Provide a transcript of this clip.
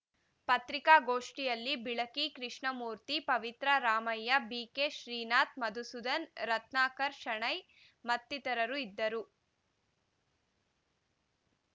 ಪತ್ರಿಕಾಗೋಷ್ಠಿಯಲ್ಲಿ ಬಿಳಕಿ ಕೃಷ್ಣಮೂರ್ತಿ ಪವಿತ್ರ ರಾಮಯ್ಯ ಬಿಕೆಶ್ರೀನಾಥ್‌ ಮಧುಸೂದನ್‌ ರತ್ನಾಕರ್‌ ಶಣೈ ಮತ್ತಿತರರು ಇದ್ದರು